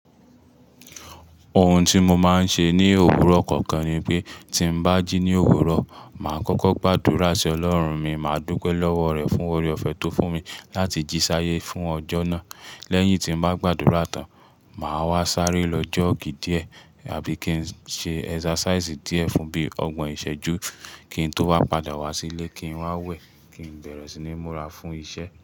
Ohun tí mo máa ń ṣe ní òwúrọ̀ kọ̀ọ̀kan ni pé tí mo bá jí ní òwúrọ̀, màá kọ́kọ́ gbàdúrà sí Ọlọ́run mi, màá dúpe lọ́wọ́ rẹ̀ fún oore-ọ̀fẹ́ tó fún mi láti jí sáyé fún ọjọ́ náà. Lẹ́yìn tí mo bá gbàdúrà tán, màá wá sáré lọ jọ́ọ̀gì díẹ̀ àbí kí n ṣe exercise díẹ̀ fun bíi ọgbọ̀n ìṣẹ́jú, kí n tó wá padà wá sílé, kí n wá wẹ̀, kí n bẹ̀rẹ̀ sí ní múra fún iṣẹ́